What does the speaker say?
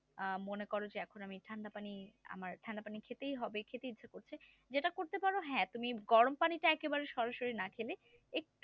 আহ মনে করো এখন আমি ঠান্ডা পানি ঠান্ডা পানি খেতেই হবে খেতে ইচ্ছা করছে যেটা করতে পারো হ্যাঁ তুমি গরম পানি পানিতে একেবারে সরাসরি না খেলে একটু